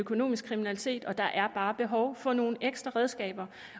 økonomisk kriminalitet og der er bare behov for nogle ekstra redskaber